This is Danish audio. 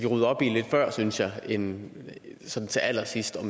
rydde op i lidt før synes jeg end sådan til allersidst og